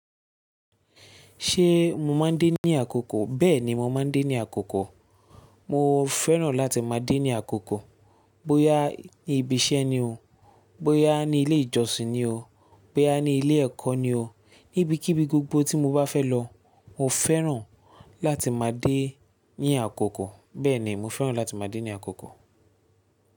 Ṣé mo máa ń dé ní àkókò? Bẹ́ẹ̀ni, mo máa ń dé ní àkókò. Mo fẹ́ràn láti máa dé ní àkókò. Bóyá ní ibi iṣẹ́ ni o, bóyá ní ilé ìjọsìn ni o, bóyá ní ilé ẹ̀kọ́ ni o, níbikíbi gbogbo tí mo bá fẹ́ lọ, mo fẹ́ràn láti máa dé ní àkókò. Bẹ́ẹ̀ni, mo fẹ́ràn láti máa dé ní àkókò.